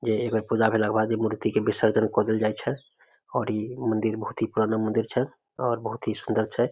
जेई एक बेर पूजा भेला के बाद मूर्ति के विसर्जन क देल जाय छै और इ मंदिर बहुत ही पुराना मंदिर छै और बहुत ही सुंदर छै।